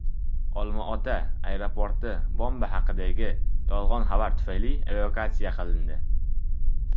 Olmaota aeroporti bomba haqidagi yolg‘on xabar tufayli evakuatsiya qilindi.